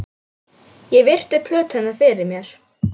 Ég virti plötuna fyrir mér.